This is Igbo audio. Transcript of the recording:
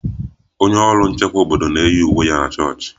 Onye ọrụ nchekwa obodo na-eyi uwe ya na chọọchị